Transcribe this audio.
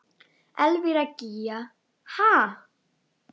Elvíra Gýgja: Ha?